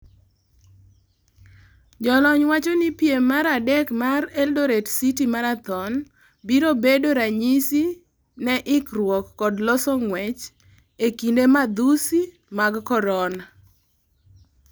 Jolony wacho ni piem mar adek mar Eldoret City Marathon biro bedo ranyisi ne ikruok kod loso ng'wech ee kinde madhusi mag Corona.